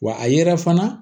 Wa a yɛrɛ fana